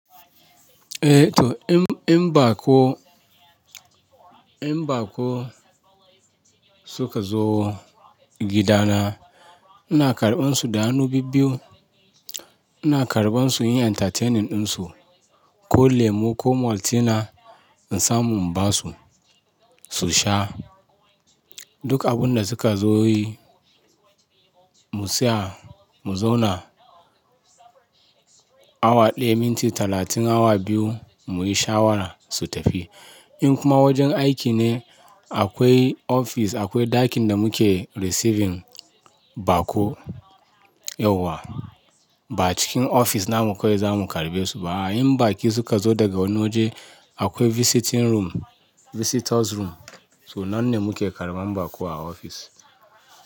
Eh to in, in baƙo, in baƙo suka zo gidana, ina karɓan su da hannu biyu biyu. Ina karɓan su yin entertaining ɗinsu, ko lemu ko Maltina in samu in ba su, su sha. Duk abun da suka zo yi, mu saya mu zauna awa ɗaya, minti talatin, awa biyu muyi shawara su tafi. In kuma wajen aiki ne akwai ofis, akwai ɗakin da muke receiving baƙo yauwa. Ba cikin ofis na mu kawai za mu karɓe su ba. In baƙi suka zo daga wani waje akwai visiting room, visitors room to nan ne muke karɓan baƙo a ofis.